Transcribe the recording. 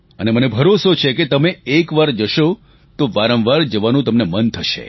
અને મને ભરોસો છે કે તમે એકવાર જશો તો વારંવાર જવાનું તમને મન થશે